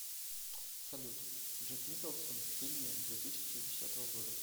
салют джек николсон в фильме две тысячи десятого года